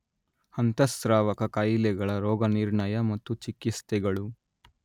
ಅಂತಃಸ್ರಾವಕ ಕಾಯಿಲೆಗಳ ರೋಗನಿರ್ಣಯ ಮತ್ತು ಚಿಕಿತ್ಸೆಗಳು